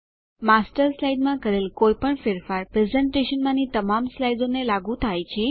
master સ્લાઇડમાં કરેલ કોઈપણ ફેરફાર પ્રેઝેંટેશનમાંની તમામ સ્લાઇડોને લાગુ થાય છે